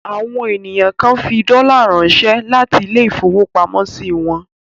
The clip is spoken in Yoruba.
Àwọn ènìyàn kan fi dọ́là ránṣẹ́ láti ilé-ìfowópamọ́sí wọn.